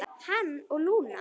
Hann og Lúna.